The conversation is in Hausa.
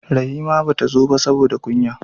Rahima bata zo ba saboda kunya